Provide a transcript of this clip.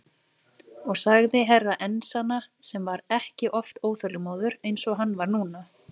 Og sagði Herra Enzana sem var ekki oft óþolinmóður eins og hann var núna.